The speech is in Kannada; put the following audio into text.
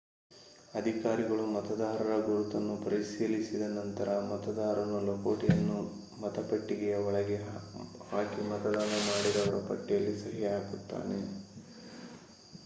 ಅಧಿಕಾರಿಗಳು ಮತದಾರರ ಗುರುತನ್ನು ಪರಿಶೀಲಿಸಿದ ನಂತರ ಮತದಾರನು ಲಕೋಟೆಯನ್ನು ಮತಪೆಟ್ಟಿಗೆಯ ಒಳಗೆ ಹಾಕಿ ಮತದಾನ ಮಾಡಿದವರ ಪಟ್ಟಿಯಲ್ಲಿ ಸಹಿ ಹಾಕುತ್ತಾನೆ